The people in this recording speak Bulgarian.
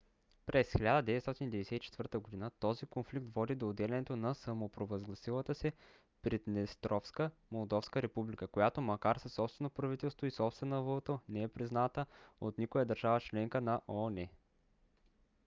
през 1994 г. този конфликт води до отделянето на самопровъзгласилата се приднестровска молдовска република която макар със собствено правителство и собствена валута не е призната от никоя държава-членка на оон